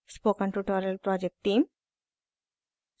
spoken tutorial project team: